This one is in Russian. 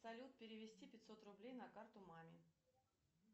салют перевести пятьсот рублей на карту маме